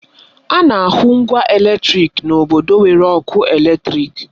Ana ahụ ngwa eletrịk n'obodo nwere ọkụ eletrịk.